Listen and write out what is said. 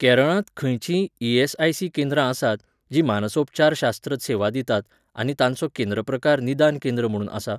केरळांत खंयचींय ई.एस.आय.सी. केंद्रां आसात, जीं मानसोपचारशास्त्र सेवा दितात आनी तांचो केंद्र प्रकार निदान केंद्र म्हुणून आसा?